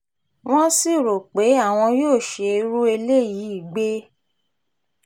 wọ́n sì rò pé àwọn yóò ṣe irú eléyìí gbé